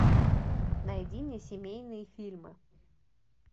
найди мне семейные фильмы